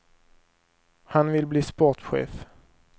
Han vill bli sportchef.